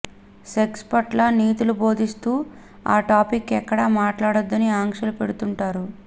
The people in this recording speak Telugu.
సెక్స్ పట్ల నీతులు బోధిస్తూ ఆ టాపిక్ ఎక్కడా మాట్లాడొద్దని ఆంక్షలు పెడుతుంటారు